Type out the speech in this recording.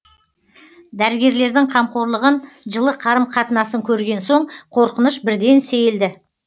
дәрігерлердің қамқорлығын жылы қарым қатынасын көрген соң қорқыныш бірден сейілді